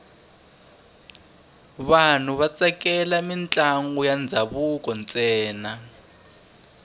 vanhu va tsakela mintlangu ya ndhavuko ntsena